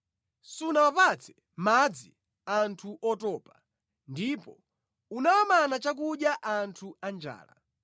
Sunawapatse madzi anthu otopa, ndipo unawamana chakudya anthu anjala,